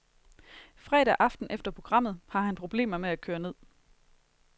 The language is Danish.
Fredag aften efter programmet har han problemer med at køre ned.